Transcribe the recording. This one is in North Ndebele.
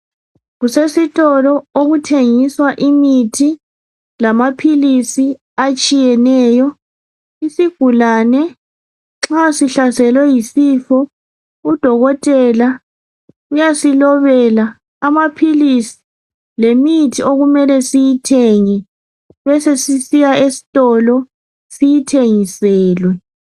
kusesitolo okuthengiswa imithi lamaphilisi atshiyeneyo isigulane nxa sihlaselwe yisifo u dokotela uyasilobela amaphilisi lemithi okumele siyithenge besesiya esitolo siyithengiselwe